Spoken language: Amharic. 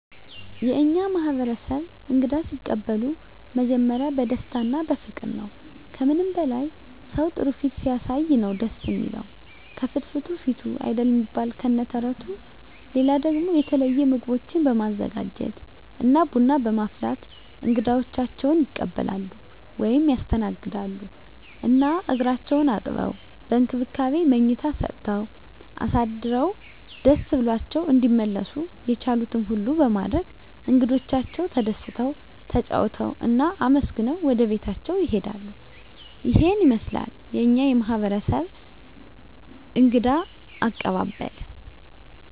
የእኛ ማህበረሰብ እንግዳ ሲቀበሉ መጀመሪያ በደስታ እና በፍቅር ነዉ። ከምንም በላይ ሰዉ ጥሩ ፊት ሲያሳይ ነዉ ደስ እሚለዉ፤ ከፍትፍቱ ፊቱ አይደል እሚባል ከነ ተረቱ። ሌላ ደሞ የተለየ ምግቦችን በማዘጋጀት እና ቡና በማፍላት እንግዶቻቸዉን ይቀበላሉ (ያስተናግዳሉ) ። እና እግራቸዉን አጥበዉ፣ በእንክብካቤ መኝታ ሰጠዉ አሳድረዉ ደስ ብሏቸዉ እንዲመለሱ የቻሉትን ሁሉ በማድረግ እንግዶቻቸዉ ተደስተዉ፣ ተጫዉተዉ እና አመስግነዉ ወደቤታቸዉ ይሄዳሉ። ይሄን ይመስላል የኛ ማህበረሰብ እንግዳ አቀባበል።